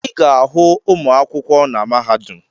Ị ga-ahụ ụmụ akwụkwọ na mahadum